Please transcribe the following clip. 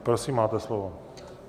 Prosím, máte slovo.